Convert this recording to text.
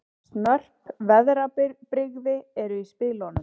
Snörp veðrabrigði eru í spilunum